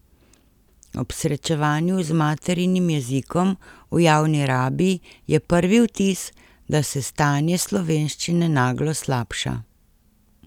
Ob srečevanju z maternim jezikom v javni rabi je prvi vtis, da se stanje slovenščine naglo slabša.